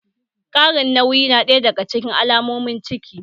Ƙarin nauyi na ɗaya daga cikin alamomin ciki